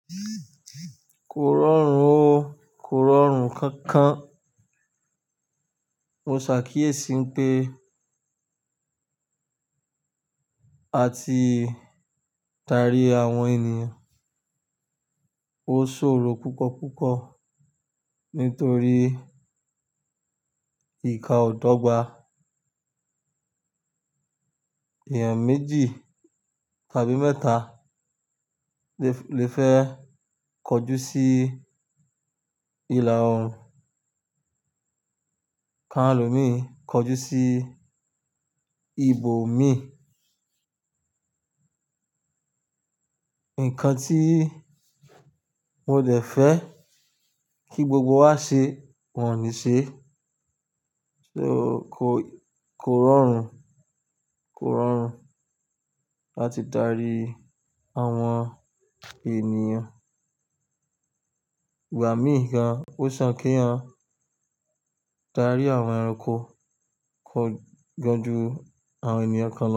Kò rọrùn o. Kò rọrùn kan-kan. Mo ṣàkíyèsí pé àti darí àwọn ènìyàn ó ṣòro púpọ̀ púpọ̀ nítorí ìkà ọ̀ dọ́gba. Èèyàn méjì tàbí mẹ́ta lè fẹ́ kojú sí ilà oòrùn, káàlò mi kojú sí ibo mi. Ǹkan tí mo dẹ̀ fẹ́ kí gbogbo wa ṣe wọ̀n ní ṣe, ṣe o, kò rọrùn, kò rọrùn láti darí àwọn ènìyàn. Ìgbà míì gan, ó sàn k'éèyàn darí àwọn ẹranko, kọ jọju àwọn ènìyàn kán lọ.